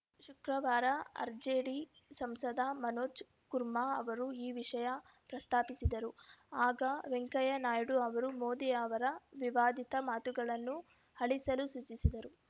ಶುಕ್ರವಾರ ಆರ್‌ಜೆಡಿ ಸಂಸದ ಮನೋಜ್‌ ಕುಮಾರ್‌ ಅವರು ಈ ವಿಷಯ ಪ್ರಸ್ತಾಪಿಸಿದರು ಆಗ ವೆಂಕಯ್ಯ ನಾಯ್ಡು ಅವರು ಮೋದಿ ಅವರ ವಿವಾದಿತ ಮಾತುಗಳನ್ನು ಅಳಿಸಲು ಸೂಚಿಸಿದರು